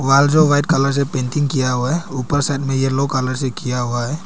दीवाल जो white colour से पेंटिंग किया हुआ है ऊपर साइड में येलो कलर से किया हुआ है।